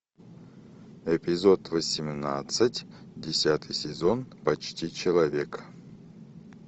эпизод восемнадцать десятый сезон почти человек